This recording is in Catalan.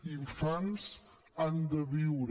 els infants han de viure